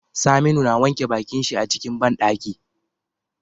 Saminu na wanke bakin shi a cikin banɗaki